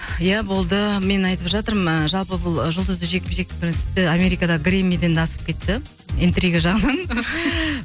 ия болды мен айтып жатырмын ы жалпы бұл жұлдызды жекпе жекті тіпті америкадағы грэммиден де асып кетті интрига жағынан